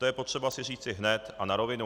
To je potřeba si říci hned a na rovinu.